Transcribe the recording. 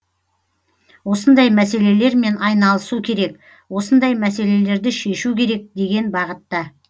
осындай мәселелермен айналысу керек осындай мәселелерді шешу керек деген бағытта